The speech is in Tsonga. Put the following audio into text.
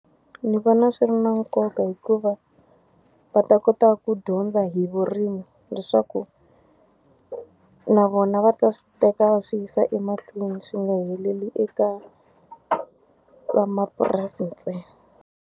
Ndzi vona swi ri na nkoka hikuva, va ta kota ku dyondza hi vurimi leswaku na vona va ta swi teka va swi yisa emahlweni swi nga heleli eka van'wamapurasi ntsena.